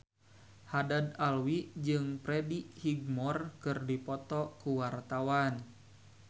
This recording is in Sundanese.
Haddad Alwi jeung Freddie Highmore keur dipoto ku wartawan